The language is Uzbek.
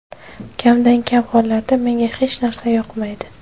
Kamdan-kam hollarda menga hech narsa yoqmaydi.